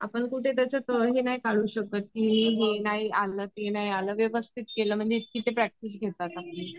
आपण कुठे त्याच्यात हे नाही काढू शकत. की हे नाही आलं ते नाही आलं, व्यवस्थित आलं म्हणजे इतके ते प्रॅक्टिस घेतात.